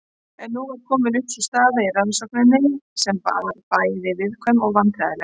En nú var komin upp staða í rannsókninni sem var bæði viðkvæm og vandræðaleg.